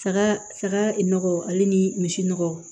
Saga saga nɔgɔ ale ni misi nɔgɔ